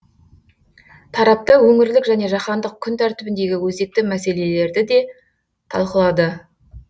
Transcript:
тараптар өңірлік және жаһандық күн тәртібіндегі өзекті мәселелерді де талқылады